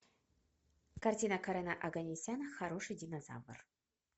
картина карена оганесяна хороший динозавр